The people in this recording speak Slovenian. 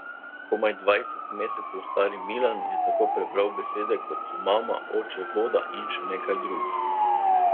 Komaj dvajset mesecev stari Milan je tako prebral besede, kot so mama, oče, voda in še nekaj drugih.